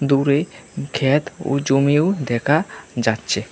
দূরে ক্ষেত ও জমিও দেখা যাচ্ছে।